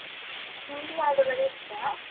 ಹಿಂದಿ ಹಾಡುಗಳು ಇಷ್ಟ.